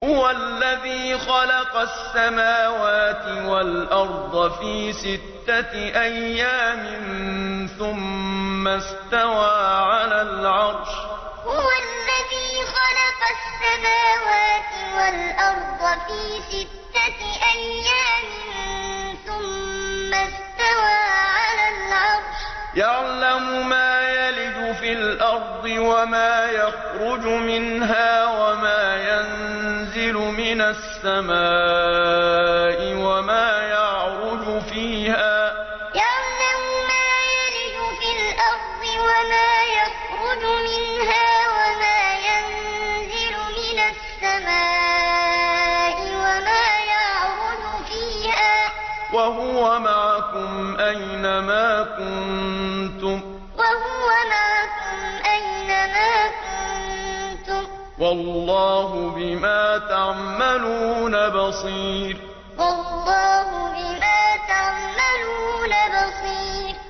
هُوَ الَّذِي خَلَقَ السَّمَاوَاتِ وَالْأَرْضَ فِي سِتَّةِ أَيَّامٍ ثُمَّ اسْتَوَىٰ عَلَى الْعَرْشِ ۚ يَعْلَمُ مَا يَلِجُ فِي الْأَرْضِ وَمَا يَخْرُجُ مِنْهَا وَمَا يَنزِلُ مِنَ السَّمَاءِ وَمَا يَعْرُجُ فِيهَا ۖ وَهُوَ مَعَكُمْ أَيْنَ مَا كُنتُمْ ۚ وَاللَّهُ بِمَا تَعْمَلُونَ بَصِيرٌ هُوَ الَّذِي خَلَقَ السَّمَاوَاتِ وَالْأَرْضَ فِي سِتَّةِ أَيَّامٍ ثُمَّ اسْتَوَىٰ عَلَى الْعَرْشِ ۚ يَعْلَمُ مَا يَلِجُ فِي الْأَرْضِ وَمَا يَخْرُجُ مِنْهَا وَمَا يَنزِلُ مِنَ السَّمَاءِ وَمَا يَعْرُجُ فِيهَا ۖ وَهُوَ مَعَكُمْ أَيْنَ مَا كُنتُمْ ۚ وَاللَّهُ بِمَا تَعْمَلُونَ بَصِيرٌ